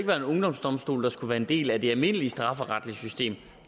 være en ungdomsdomstol der skulle være en del af det almindelige strafferetlige system